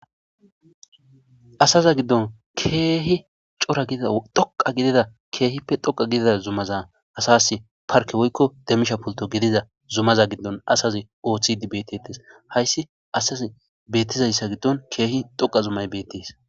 asaza giddon keehi coradhoqa gidida keehippe dhoqa gidida zumaza asas parke woykko demmisha pulto gidiza zumaza giddon asazi ooththidi betetes hayssi asaz beettizayssa giddon keehi dhoqa zumay bettis